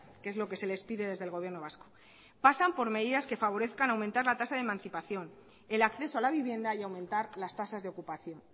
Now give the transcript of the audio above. que es lo que se les pide desde el gobierno vasco pasan por medidas que favorezcan aumentar la tasa de emancipación el acceso a la vivienda y aumentar las tasas de ocupación